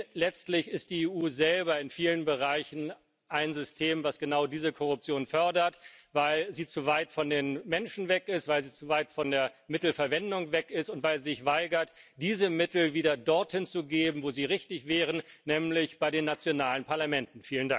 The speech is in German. Denn letztlich ist die EU selber in vielen Bereichen ein System, das genau diese Korruption fördert, weil sie zu weit von den Menschen weg ist, weil sie zu weit von der Mittelverwendung weg ist, und weil sie sich weigert, diese Mittel wieder dorthin zu geben, wo sie richtig wären, nämlich bei den nationalen Parlamenten.